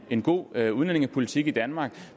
en god udlændingepolitik i danmark